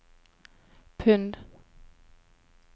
pund